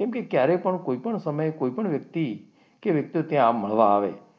કેમ કે ક્યારેક પણ, કોઈપણ સમયે, કોઈપણ વ્યક્તિ ત્યાં મળવા આવે.